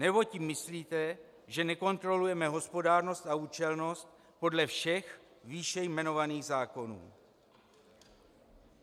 Nebo tím myslíte, že nekontrolujeme hospodárnost a účelnost podle všech výše jmenovaných zákonů?